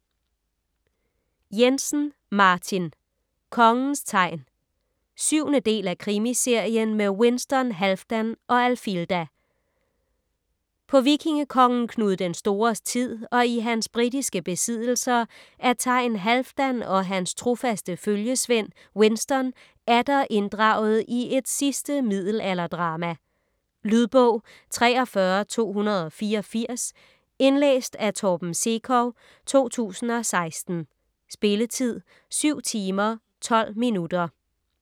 Jensen, Martin: Kongens thegn 7. del af Krimiserien med Winston, Halfdan og Alfilda. På vikingekongen Knud den Stores tid og i hans britiske besiddelser er Thegn Halfdan og hans trofaste følgesvend Winston atter inddraget i et sidste middelalderdrama. . Lydbog 43284 Indlæst af Torben Sekov, 2016. Spilletid: 7 timer, 12 minutter.